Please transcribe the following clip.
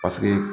Paseke